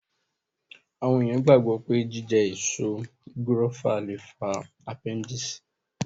Àwọn èèyàn gbàgbọ́ pé jíjẹ èso gúrófà lè fa apẹ́ndìsì